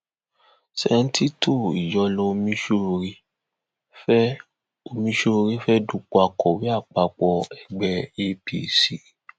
sẹńtítọ ìyọlọ ọmiṣọrẹ fẹẹ ọmiṣọrẹ fẹẹ dúpọ akọwé àpapọ ẹgbẹ [capc